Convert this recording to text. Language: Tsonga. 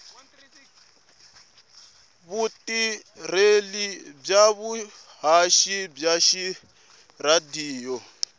vutirheli bya vuhaxi bya tiradiyo